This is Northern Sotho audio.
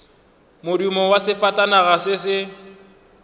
modumo wa sefatanaga se se